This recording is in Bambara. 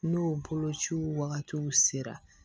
N'o bolociw wagatiw sera